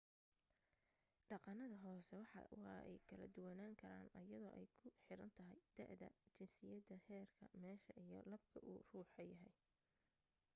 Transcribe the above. dhaqanada hoose waa ay kala duwanan karaan ayado ay ku xiran tahay da'da jinsiyada heerka meesha iyo labka uu ruuxa yahay